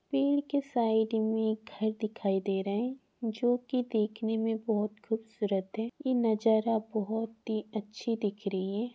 पेड़ के साइड में एक घर दिखाई दे रहे है जो कि देखने में बहुत खूबसूरत है इ नजारा बहुत ही अच्छी दिख रही है।